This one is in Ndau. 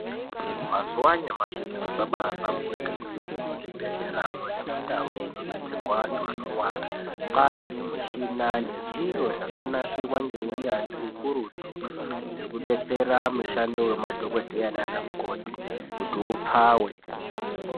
Mazuwa anyamashi zviro zvabahlamburika kwemene muzvibhedhleramwo nemundau dzinobetserwa antu anorwara. Kwane zvimushina zvakanasirwa ngeunyanzvi ukurutu hwekubetsera mushando hwemadhokodheya nanamukoti kuti upfawe.